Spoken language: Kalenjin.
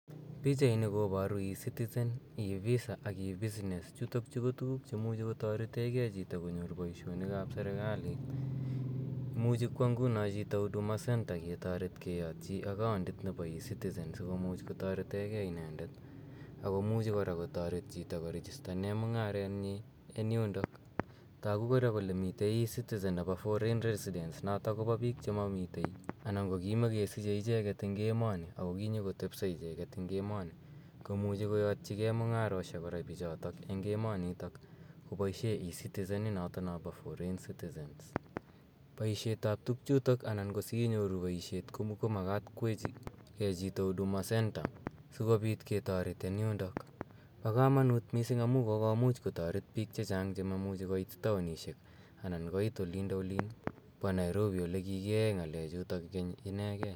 Pichani koparu e citizen, e visa ak e business. Chutok chu ko tuguuk che imuchi kotarete gei chito konyor poishoniik ap serikaliit. Imuchi kowa nguno chito huduma center ketaret keyatyi account nepo e citizen si komuch kotarete gei inendet ako muchibkora kotaret chito korejistane mung'aret nyi eng' yundok. Tagu kora kole mitei ecitizen nepo foreign residents, notok kopa piik che mamitei anan ko kimakesiche eng' emoni ako kinyikotepsa icheget eng' emoni komuchi koyatchigei mung'aroshek kora icheget eng' emanitok kopishe e citizen intoni po foreign citizens. Poishet ap tugchutok anan ko si inyoru poishet ko makat kowechigei chito huduma center, si kopit ketaret eng' yundok. Po kamanuut kot missing amu kokomuch kotaret piik che chang' che maimuchi koit taonishiek anan koit olindoilin pa Nairobi ole kikiyae ng'alechutok inegei.